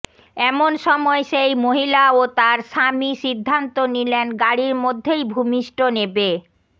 এমন সময় সেই মহিলা ও তাঁর স্বামী সিদ্ধান্ত নিলেন গাড়ির মধ্যেই ভূমিষ্ঠ নেবে